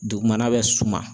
Dugumana bɛ suma